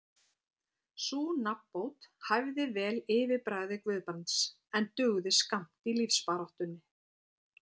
Sú nafnbót hæfði vel yfirbragði Guðbrands, en dugði skammt í lífsbaráttunni.